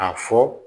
A fɔ